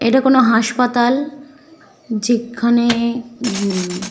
এটা কোনো হাসপাতাল। যেখানে--